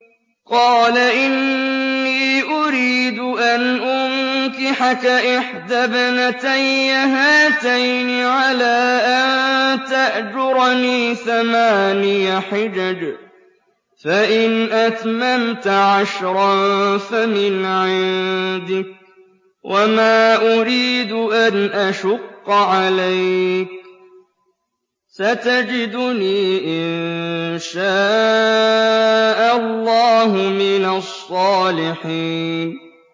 قَالَ إِنِّي أُرِيدُ أَنْ أُنكِحَكَ إِحْدَى ابْنَتَيَّ هَاتَيْنِ عَلَىٰ أَن تَأْجُرَنِي ثَمَانِيَ حِجَجٍ ۖ فَإِنْ أَتْمَمْتَ عَشْرًا فَمِنْ عِندِكَ ۖ وَمَا أُرِيدُ أَنْ أَشُقَّ عَلَيْكَ ۚ سَتَجِدُنِي إِن شَاءَ اللَّهُ مِنَ الصَّالِحِينَ